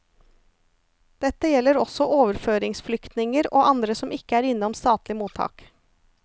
Dette gjelder også overføringsflyktninger og andre som ikke er innom statlig mottak.